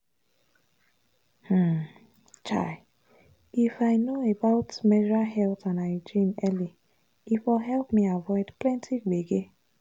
chai if i know about menstrual health and hygiene early e for help me avoid plenty gbege.